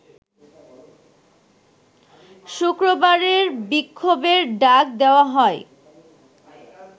শুক্রবারের বিক্ষোভের ডাক দেওয়া হয়